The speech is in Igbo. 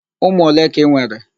Ụmụ ole ka i nwere?